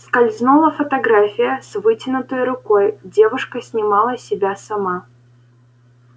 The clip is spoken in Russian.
скользнула фотография с вытянутой рукой девушка снимала себя сама